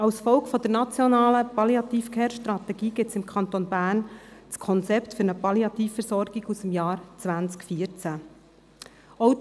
Als Folge der nationalen Palliative-Care-Strategie gibt es im Kanton Bern das «Konzept für die Palliative Versorgung» aus dem Jahr 2014.